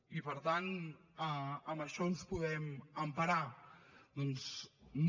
i per tant en això ens podem emparar doncs no